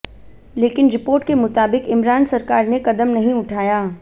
लेकिन रिपोर्ट के मुताबिक इमरान सरकार ने कदम नहीं उठाया